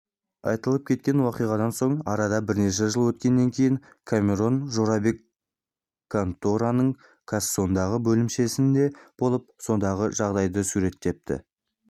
айтылып өткен уақиғадан соң арада бірнеше жыл өткеннен кейін камерон жорабек конторының кассангодағы бөлімшесінде болып сондағы жағдайды суреттепті